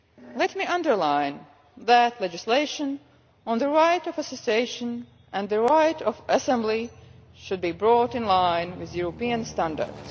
Let me underline that legislation on the right of association and the right of assembly should be brought into line with European standards.